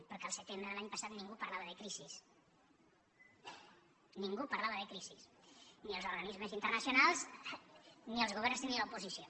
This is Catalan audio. perquè el setembre de l’any passat ningú parlava de crisi ningú parlava de crisi ni els organismes internacionals ni els governs ni l’oposició